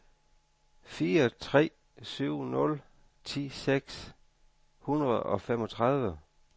fire tre syv nul ti seks hundrede og femogtredive